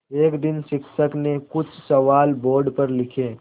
एक दिन शिक्षक ने कुछ सवाल बोर्ड पर लिखे